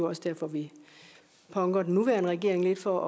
også derfor vi punker den nuværende regering lidt for